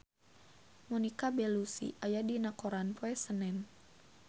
Monica Belluci aya dina koran poe Senen